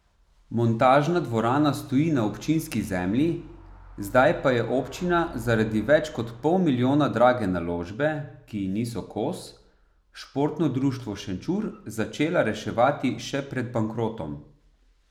Montažna dvorana stoji na občinski zemlji, zdaj pa je občina zaradi več kot pol milijona drage naložbe, ki ji niso kos, Športno društvo Šenčur začela reševati še pred bankrotom.